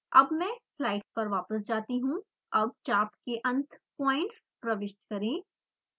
अब मैं स्लाइड पर वापस जाती हूँ अब चाप के अंत पॉइंट्स प्रविष्ट करें